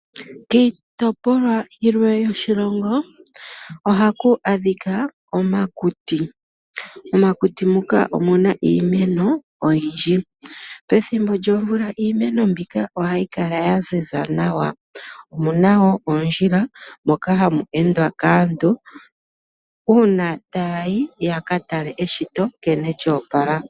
Kiitopolwa yilwe yoshilongo ohaku adhika omakuti. Momakuti muka omuna iimeno oyindji pethimbo lyomvula iimeno mbika ohayi kala ya ziza nawa, omu na woo oondjila moka ha mu endwa kaantu uuna ta ya yi ya ka tale eshito nkene lyo opala.